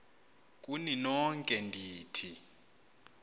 kuni nonke ndithi